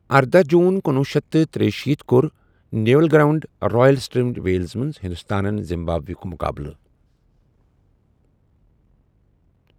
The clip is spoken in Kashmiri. ارداہ جون کنوُہ شیٚتھ تہٕ تریہِ شیٖتھ کوٚر Nevill Ground, Royal Tunbridge Wells منز ہندوستانن زِمبابوے ہُک مُقابلہٕ ۔